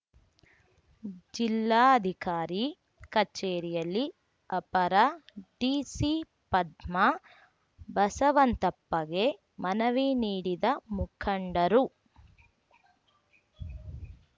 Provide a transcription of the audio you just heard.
ಜಿಲ್ಲಾಧಿಕಾರಿ ಕಚೇರಿಯಲ್ಲಿ ಅಪರ ಡಿಸಿ ಪದ್ಮಾ ಬಸವಂತಪ್ಪಗೆ ಮನವಿ ನೀಡಿದ ಮುಖಂಡರು